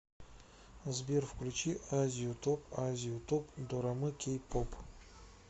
сбер включи азию топ азию топ дорамы кей поп